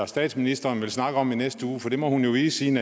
statsministeren vil snakke om i næste uge for det må hun jo vide siden